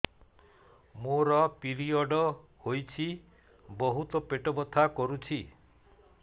ମୋର ପିରିଅଡ଼ ହୋଇଛି ବହୁତ ପେଟ ବଥା କରୁଛି